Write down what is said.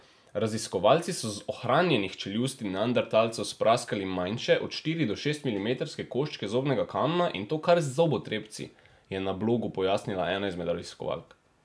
Raziskovalci so z ohranjenih čeljusti neandertalcev spraskali manjše, od štiri do šest milimetrske koščke zobnega kamna, in to kar z zobotrebci, je na blogu pojasnila ena izmed raziskovalk.